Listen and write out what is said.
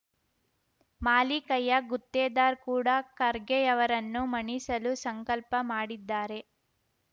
ಮಾಲಿಕಯ್ಯ ಗುತ್ತೇದಾರ್ ಕೂಡ ಖರ್ಗೆಯವರನ್ನು ಮಣಿಸಲು ಸಂಕಲ್ಪ ಮಾಡಿದ್ದಾರೆ